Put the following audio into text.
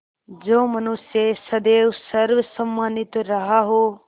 जो मनुष्य सदैव सर्वसम्मानित रहा हो